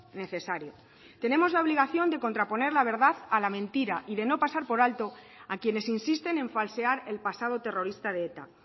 necesario tenemos la obligación de contraponer la verdad a la mentira y de no pasar por alto a quienes insisten en falsear el pasado terrorista de eta